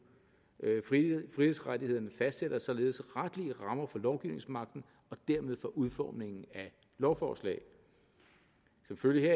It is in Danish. frihedsrettighederne fastsætter således retlige rammer for lovgivningsmagten og dermed for udformningen af lovforslag som følge